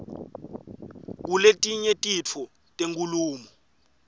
kuletinye titfo tenkhulumo